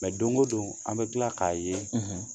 Mɛ don o don an bɛ tila k'a ye